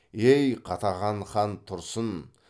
ей қатаған хан тұрсын